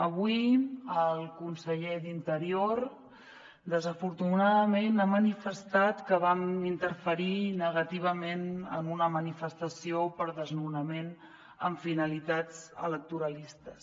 avui el conseller d’interior desafortunadament ha manifestat que vam interferir negativament en una manifestació per desnonament amb finalitats electoralistes